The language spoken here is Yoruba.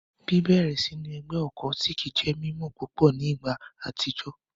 Bibẹrẹ sinu ẹgbẹ occultic jẹ mimọ pupọ ni igba atijọ